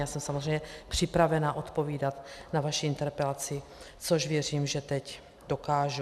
Já jsem samozřejmě připravena odpovídat na vaši interpelaci, což věřím, že teď dokážu.